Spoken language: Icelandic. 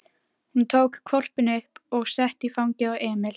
Hún tók hvolpinn upp og setti í fangið á Emil.